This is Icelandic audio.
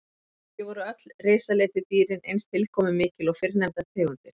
Ekki voru öll risaletidýrin eins tilkomumikil og fyrrnefndar tegundir.